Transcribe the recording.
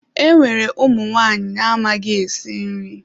Enwere ụmụ nwanyị amaghị esi nri.